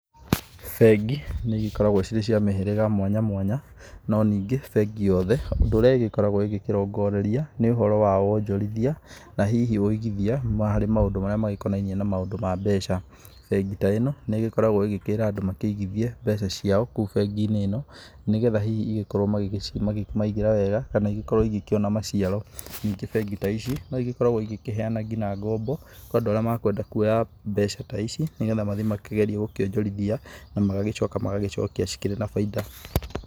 Bengi nĩ igĩkoragwo cirĩ cia mĩhĩrĩga mwanya mwanya, no nĩngĩ bengi yothe ũndũ ũrĩa ĩgĩkoragwo ĩgĩkĩrongoreria nĩ ũhoro wa wonjorithia, na hihi wĩigithia harĩ maũndũ marĩa magĩkonainie na maũndũ ma mbeca. Bengi ta ĩno, nĩ ĩgĩkoragwo ĩgĩkĩĩra andũ makĩigithie mbeca ciao kũu bengi-inĩ ĩno, nĩ getha hihi igĩkorwo makĩmaigĩra wega kana igĩkorwo igĩkĩona maciaro. Ningĩ bengi ta ici, no igĩkoragwo igĩkĩheana ngina ngombo, kwĩ andũ arĩa me kwenda kuoya mbeca ta ici nĩ getha mathiĩ makĩgerie gũkĩonjorithia na magagĩcoka magagĩcokia cikĩrĩ na baida.